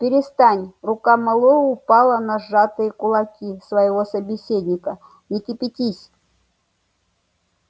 перестань рука мэллоу упала на сжатые кулаки своего собеседника не кипятись